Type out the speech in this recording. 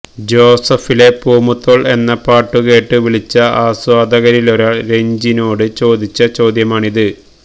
ജോസഫിലെ പൂമുത്തോള് എന്ന പാട്ടു കേട്ട് വിളിച്ച ആസ്വാദകരിലൊരാള് രഞ്ജിനോട് ചോദിച്ച ചോദ്യമാണിത്